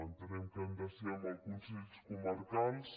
entenem que ha de ser amb els consells comarcals